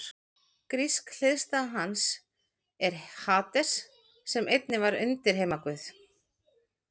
Grísk hliðstæða hans er Hades sem einnig var undirheimaguð.